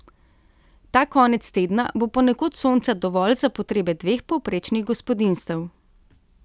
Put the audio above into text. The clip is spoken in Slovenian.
Ta konec tedna bo ponekod sonca dovolj za potrebe dveh povprečnih gospodinjstev.